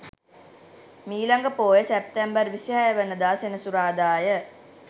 මීළඟ පෝය සැප්තැම්බර් 26 වන දා සෙනසුරාදා ය.